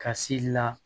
Ka se la